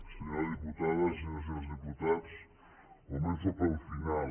senyora diputada senyores i senyors diputats començo pel final